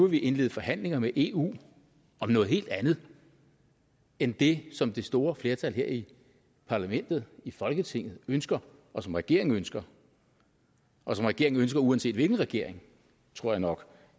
vi indlede forhandlinger med eu om noget helt andet end det som det store flertal her i parlamentet i folketinget ønsker og som regeringen ønsker og som regeringen ønsker uanset hvilken regering tror jeg nok